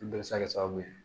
Bɛɛ bɛ se ka kɛ sababu ye